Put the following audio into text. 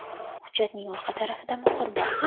Hujjatning orqa tarafida muhr bor.